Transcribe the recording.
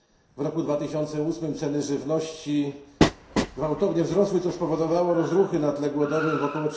W roku 2008 ceny żywności gwałtownie wzrosły, co spowodowało rozruchy na tle głodowym w ok.